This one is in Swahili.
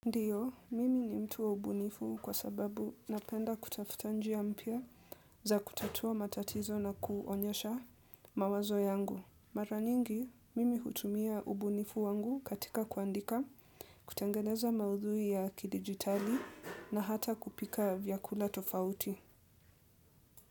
Ndiyo, mimi ni mtu wa ubunifu kwa sababu napenda kutafuta njia mpya za kutatua matatizo na kuonyesha mawazo yangu. Mara nyingi, mimi hutumia ubunifu wangu katika kuandika, kutengeneza maudhui ya kidigitali na hata kupika vyakula tofauti.